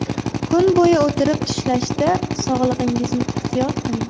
Kun bo‘yi o‘tirib ishlashda sog‘lig‘ingizni ehtiyot qiling.